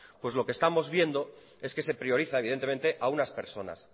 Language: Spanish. pues lo que estamos viendo es que se prioriza evidentemente a unas personas